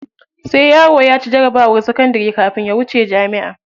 Sai yaro ya ci jarabawar sakandari kafin ya wuce jami'a.